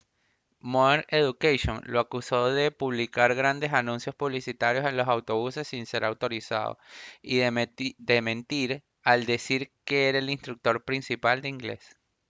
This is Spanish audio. modern education lo acusó de publicar grandes anuncios publicitarios en los autobuses sin ser autorizado y de mentir al decir que era el instructor principal de inglés